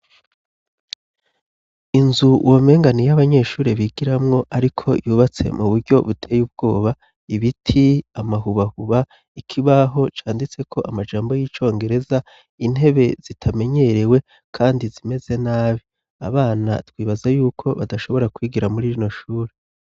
Inzu womenga ni iy'abanyeshure bigiramwo ariko yubatse mu buryo buteye ubwoba, ibiti, amahubahuba, ikibaho canditseko amajambo y'icongereza, intebe zitamenyerewe kandi zimeze nabi. Abana twibaza yuko badashobora kwigira muri rino shure.